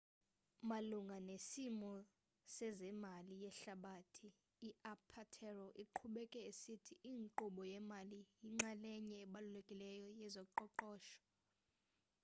malunga nesimo sezemali yehlabathi u-apatero uqhubeke esithi inkqubo yemali yinxalenye ebalulekileyo yezoqoqosho